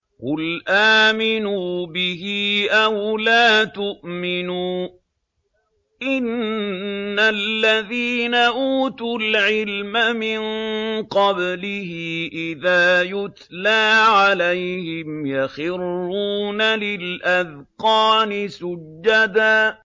قُلْ آمِنُوا بِهِ أَوْ لَا تُؤْمِنُوا ۚ إِنَّ الَّذِينَ أُوتُوا الْعِلْمَ مِن قَبْلِهِ إِذَا يُتْلَىٰ عَلَيْهِمْ يَخِرُّونَ لِلْأَذْقَانِ سُجَّدًا